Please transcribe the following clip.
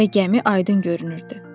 Və gəmi aydın görünürdü.